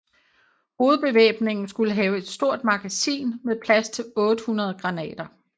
Hovedbevæbningen skulle have et stort magasin med plads til 800 granater